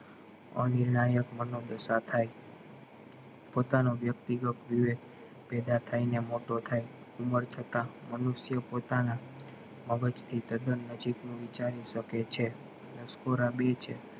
મનોદશા થાય પોતાનો વ્યક્તિગત પેદા થાય ને મોટો થાય ઉમર થતા મનુષ્ય પોતાના મગજ થી તદ્દન નજીક નું વિષારી શકે છે અને નસકોરા બેય છે